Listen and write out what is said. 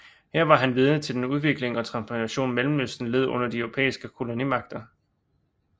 Her var han vidne til den udvikling og transformation Mellemøsten led under de europæiske kolonimagter